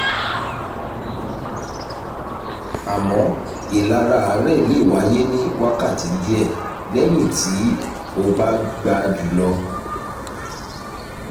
àmọ́ ìlara àárẹ̀ lè wáyé ní wákàtí díẹ̀ lẹ́yìn tí o bá gba jù lọ